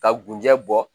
Ka gunjɛ bɔ